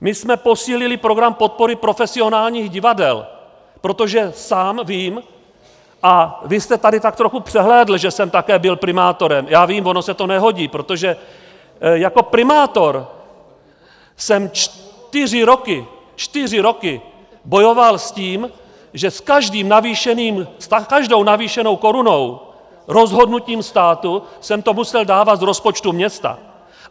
My jsme posílili program podpory profesionálních divadel, protože sám vím - a vy jste tady tak trochu přehlédl, že jsem také byl primátorem, já vím, ono se to nehodí, protože jako primátor jsem čtyři roky, čtyři roky bojoval s tím, že s každou navýšenou korunou rozhodnutím státu jsem to musel dávat z rozpočtu města.